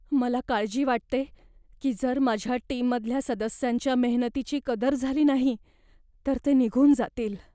मला काळजी वाटते की जर माझ्या टीममधल्या सदस्यांच्या मेहनतीची कदर झाली नाही तर ते निघून जातील.